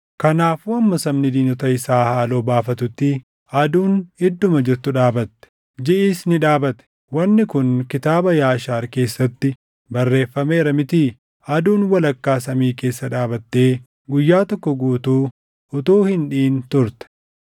Kanaafuu hamma sabni diinota isaa haaloo baafatutti aduun idduma jirtu dhaabatte; jiʼis ni dhaabate; wanni kun Kitaaba Yaashaar keessatti barreeffameera mitii? Aduun walakkaa samii keessa dhaabattee guyyaa tokko guutuu utuu hin dhiʼin turte.